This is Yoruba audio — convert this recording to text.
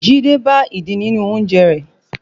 Jide bá ìdin nínú oúnjẹ rẹ̀